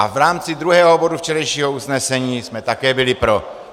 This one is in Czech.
A v rámci druhého bodu včerejšího usnesení jsme také byli pro.